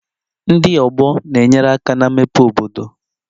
Ndị ọgbọ na-enyere aka na mmepe obodo